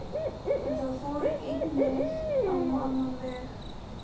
En það fór einnig á annan veg.